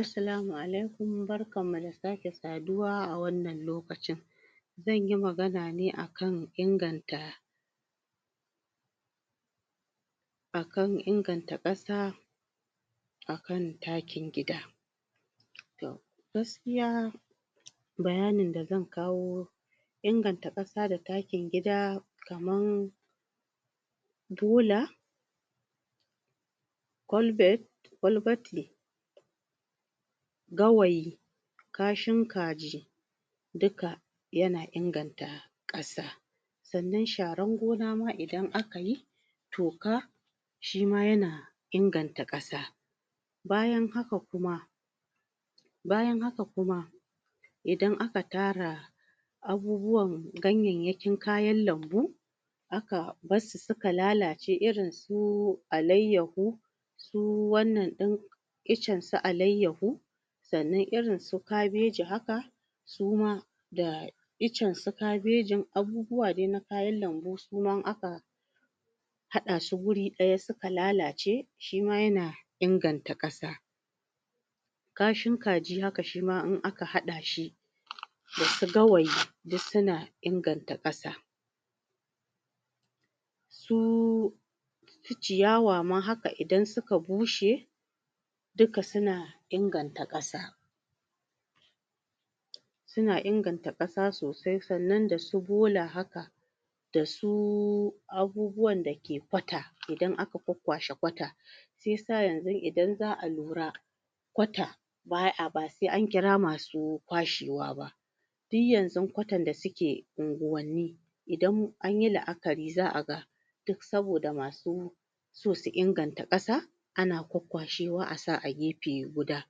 Assalamu alaikum barkanmu da sake saduwa a wannan lokacin zanyi magana ne akan inganta akan inaganta ƙasa akan takin gida to gaskiya bayanin da zan kawo inganta ƙasa da takin gida kaman bola ƙwalbati gawayi kashin kaji duka yana inganta ƙasa sannan sharan gona ma idan akayi tuaka shima yana inganta ƙasa bayan haka kuma idan aka tara abubuwan ganyayyakin kayan lanbu aka bassu suka lalace irinsu alayyahu su wannan ɗin icansu alayyahu sannan irinsu kabeji haka suma da icansu kabejin abubuwa dai na kayan alanbu haɗasu guri ɗaya suka lalace shima yana inganta ƙasa kashin kaji haka shima haka in aka haɗashi dasu gawayi duk suna inganta ƙasa su ciyawa ma haka idan suka bushe duka suna inganta ƙasa suna inganta ƙasa sosai sannan dasu bola haka dasu abubuwan dake ƙwata idan aka ƙwaƙƙwashe ƙwata haka shiyasa yanzun idan za a lura ƙwata ba sai ankira masu ƙwashewa ba dun yanzun ƙwatan da suke unguwanni idan anyi la'akari za a ga duk saboda masu so su inganta ƙasa ana ƙwaƙƙwashewa asa a gefe guda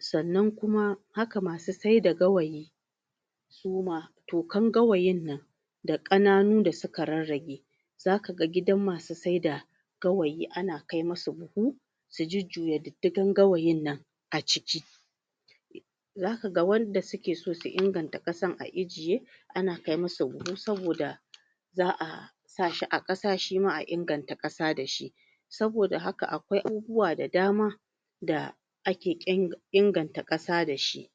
sannan kuma haka masu saida gawayi tukan gawayin nan da ƙananu da suka rarrage zaka ga gidan masu sai da gawayi ana kai musu buhu su jujjuya diddigan gawayin nan a ciki zaka ga wanda suke so su inganta ƙasan a ijje ana kai musu buhu saboda za a za a sashi a ƙasa shima a inganta kasa dashi saboda haka aƙwai abubuwa da dama da ake inganta ƙasa dashi